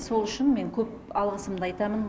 сол үшін мен көп алғысымды айтамын